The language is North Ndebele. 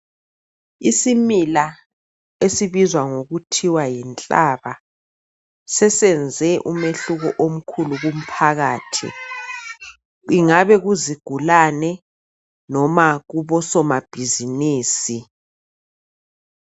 Isimila esibizwa kuthwa yinhlaba sesenze umehluko omkhulu kumphakathi, kungabe kuzigulani noma kubosomabhizimusi.